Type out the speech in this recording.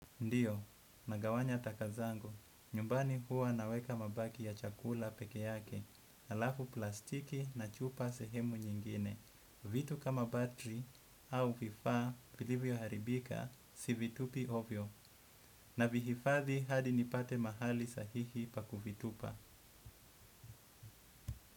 Ndiyo, nagawanya taka zangu. Nyumbani huwa naweka mabaki ya chakula peke yake, alafu plastiki na chupa sehemu nyingine. Vitu kama batri au vifaa vilivyoharibika si vitupi ovyo. Navihifadhi hadi nipate mahali sahihi pa kuvitupa.